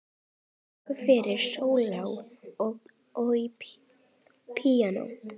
Verk fyrir selló og píanó.